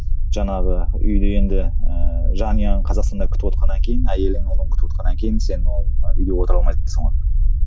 жаңағы үйде енді ііі жанұяң қазақстанда күтівотқаннан кейін әйелің ұлың күтівотқаннан кейін сол ол үйде отыра